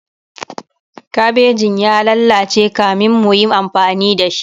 kabejin ya lallace kamin muyi amfani da shi